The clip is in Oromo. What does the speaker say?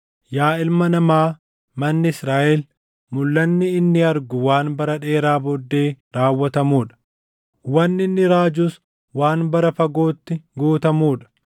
“Yaa ilma namaa, manni Israaʼel, ‘Mulʼanni inni argu waan bara dheeraa booddee raawwatamuu dha; wanni inni raajus waan bara fagootti guutamuu dha.’